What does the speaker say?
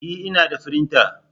E! Ina da firinta